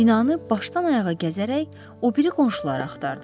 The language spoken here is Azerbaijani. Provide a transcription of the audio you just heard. Binanı başdan ayağa gəzərək o biri qonşuları axtardım.